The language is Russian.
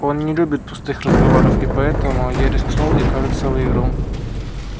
он не любит пустых разговоров и поэтому я рискнул и кажется выиграл